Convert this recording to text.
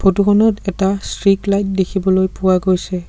Photo খনত এটা streak light দেখিবলৈ পোৱা গৈছে।